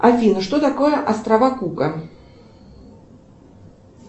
афина что такое острова кука